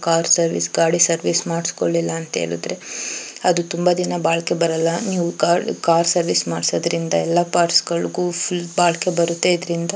car service ಗಾಡಿ service ಮಾಡಿಸ್ಕೊಳ್ಲಿಲ್ಲ ಅಂತ ಹೇಳಿದ್ರೆ ಅದು ತುಂಬಾ ದಿನ ಬಾಳಿಕೆ ಕಾರ್ ಸರ್ವಿಸ್ ಮಾಡಿಸೋದ್ರಿಂದ ಎಲ್ಲ ಪಾರ್ಟ್ಸ್ ಗಳಿಗೂ ಫುಲ್ ಬಾಳಿಕೆ ಬರುತ್ತೆ ಇದರಿಂದ--